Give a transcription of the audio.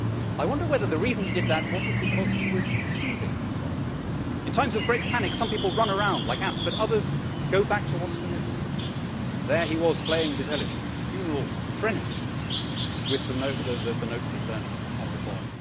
I wonder whether the reason he did that was not because he was soothing himself. In times of great panic some people run around like ants, but others go back to what is familiar and there he was playing his elegy, his funeral threnody with the notes he had learnt as a boy.